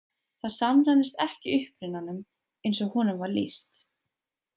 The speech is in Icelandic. Það samræmist ekki upprunanum eins og honum var lýst.